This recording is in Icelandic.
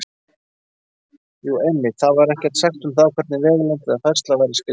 Jú, einmitt: Þar var ekkert sagt um það hvernig vegalengd eða færsla væri skilgreind!